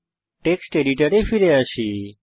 text এডিটরে ফিরে আসি